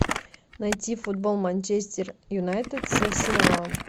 найти футбол манчестер юнайтед с арсеналом